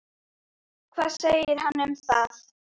Hvað segir hann um það?